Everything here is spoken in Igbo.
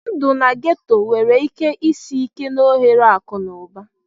Ndụ na ghetto nwere ike isi ike na ohere akụ na ụba